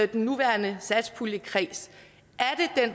den nuværende satspulje